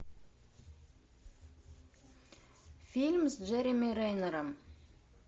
фильм с джереми реннером